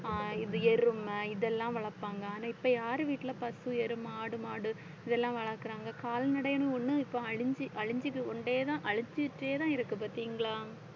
ஆஹ் இது எருமை இதெல்லாம் வளர்ப்பாங்க ஆனா இப்ப யார் வீட்டுல பசு, எருமை, ஆடு மாடு இதெல்லாம் வளர்க்கறாங்க? கால்நடைன்னு ஒண்ணு இப்ப அழிஞ்சு அழிஞ்சு கொண்டேதான் அழிஞ்சிட்டேதான் இருக்கு பாத்தீங்களா?